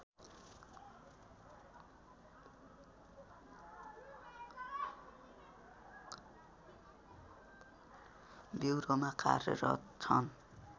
ब्युरोमा कार्यरत छन्